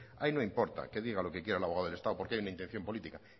ahí no importa que diga lo que quiera el abogado del estado porque hay una intención política